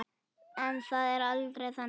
En það er aldrei þannig.